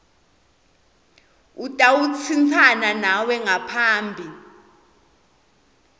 utawutsintsana nawe ngaphambi